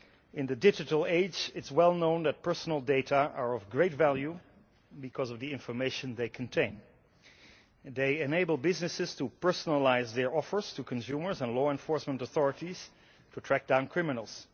In the digital age it is well known that personal data are of great value because of the information they contain. They enable businesses to personalise their offers to consumers and law enforcement authorities to track down criminals.